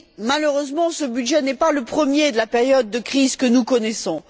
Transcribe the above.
Malheureusement, ce budget n'est pas le premier de la période de crise que nous connaissons.